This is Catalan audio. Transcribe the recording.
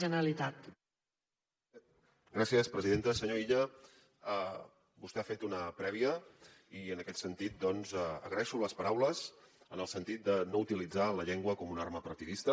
senyor illa vostè ha fet una prèvia i en aquest sentit agraeixo les paraules en el sentit de no utilitzar la llengua com una arma partidista